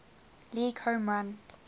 league home run